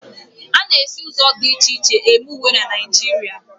A na-esi ụzọ dị iche iche eme uwe na Naịjirịa.